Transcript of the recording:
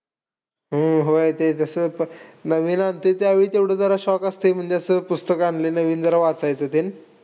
हम्म होय ते जसं नवीन आणतोय त्यावेळी तेवढं जरा शौक असतं. म्हणजे असं पुस्तकं आणलंय नवीन जरा वाचायचं ते.